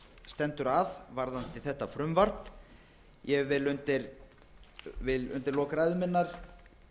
stendur að varðandi þetta frumvarp ég vil undir lok ræðu minnar